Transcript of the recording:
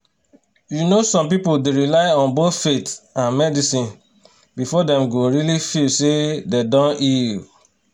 you know some people dey rely on both faith and medicine before dem go really feel say dem don heal.